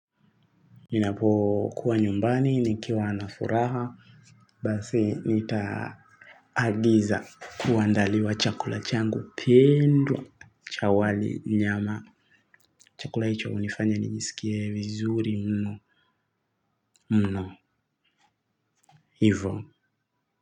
Ninapo kuwa nyumbani nikiwa na furaha basi nitaagiza kuandaliwa chakula changu pendwa cha wali nyama, chakula hicho hunifanya nisikie vizuri mno mno hivo.